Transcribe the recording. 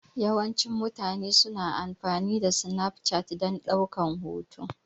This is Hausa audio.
Yawancin mutane su na amfani da Snapchat dan ɗaukan hotuna